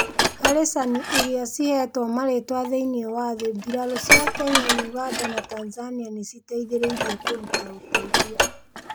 Haricani irĩa cihetwo marĩitwa thĩinĩĩ wa thĩ. Birarũcia Kenya, ũganda na Tanzania nĩ ciateithĩrĩirie kũruta ũteithio.